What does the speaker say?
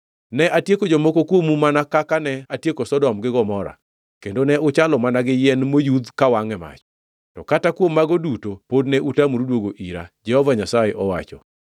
“Ne atieko jomoko kuomu mana kaka ne atieko Sodom gi Gomora, kendo ne uchalo mana gi yien moyudh kawangʼ e mach, to kata kuom mago duto pod ne utamoru duoga ira,” Jehova Nyasaye owacho.